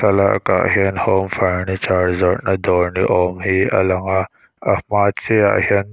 thlalak ah hian home furniture zawrh na dawr ni awm hi a lang a a hma chiah ah hian--